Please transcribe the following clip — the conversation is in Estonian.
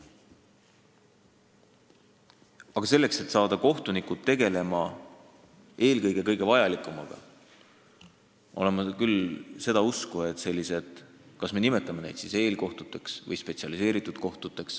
Aga selleks, et saada kohtunikud tegelema eelkõige kõige vajalikumaga, oleks minu arvates vaja selliseid nn eelkohtuid või spetsialiseeritud kohtuid.